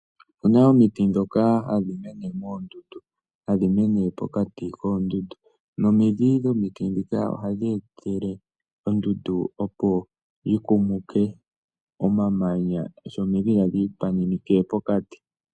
Opuna omiti dhoka hadhi mene moondundu hadhi mene pokati koondundu, nomidhi dhomiti dhika ohadhi etele ondundu opo tikumuke omamanya sho omidhi hadhi ipaminike pokati.